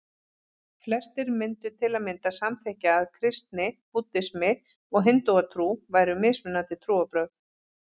Flestir myndu til að mynda samþykkja að kristni, búddismi og hindúatrú væru mismunandi trúarbrögð.